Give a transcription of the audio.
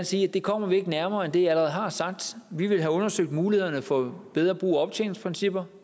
sige at det kommer vi ikke nærmere end det jeg allerede har sagt vi vil have undersøgt mulighederne for bedre brug af optjeningsprincipper